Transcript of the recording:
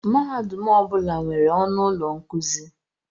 Mahadum ọ bụla nwere ọnụ ụlọ nkuzi.